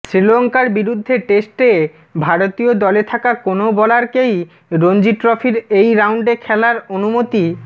শ্রীলঙ্কার বিরুদ্ধে টেস্টে ভারতীয় দলে থাকা কোনও বোলারকেই রঞ্জি ট্রফির এই রাউন্ডে খেলার অনুমতি